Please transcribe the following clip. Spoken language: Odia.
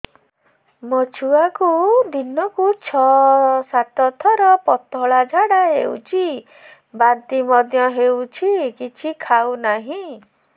ମୋ ଛୁଆକୁ ଦିନକୁ ଛ ସାତ ଥର ପତଳା ଝାଡ଼ା ହେଉଛି ବାନ୍ତି ମଧ୍ୟ ହେଉଛି କିଛି ଖାଉ ନାହିଁ